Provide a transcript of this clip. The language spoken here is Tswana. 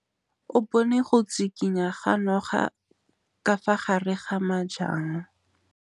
O bone go tshikinya ga noga ka fa gare ga majang.